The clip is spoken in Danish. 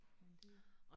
Men det